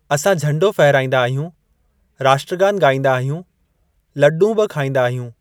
असां झंडो फहराईंदा आहियूं, राष्ट्रगान ॻाईंदा आहियूं, लॾूं बि खाईंदा आहियूं।